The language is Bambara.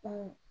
Ko